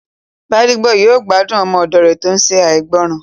Gbádébọ̀ yóò gbádùn ọmọ òdò rẹ̀ tó n ṣe ìgbọràn